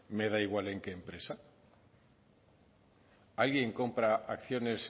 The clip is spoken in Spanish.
me da igual en qué empresa alguien compra acciones